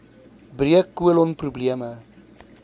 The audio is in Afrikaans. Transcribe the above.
breuk kolon probleme